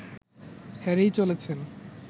হেরেই চলেছেন